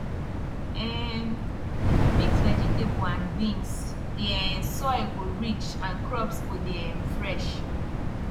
um if you mix vegetable and beans the um soil go rich and crops go dey um fresh